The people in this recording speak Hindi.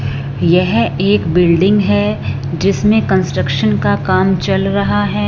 यह एक बिल्डिंग है जिसमें कंस्ट्रक्शन का काम चल रहा है।